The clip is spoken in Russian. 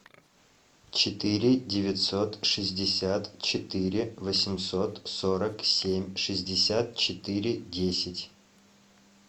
четыре девятьсот шестьдесят четыре восемьсот сорок семь шестьдесят четыре десять